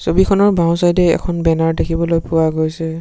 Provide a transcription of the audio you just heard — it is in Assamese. ছবিখনৰ বাওঁ-চাইদে এ এখন বেনাৰ দেখিবলৈ পোৱা গৈছে।